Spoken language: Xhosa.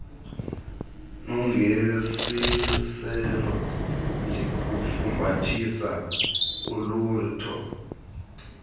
nangesiselo ndikufumbathise ulutho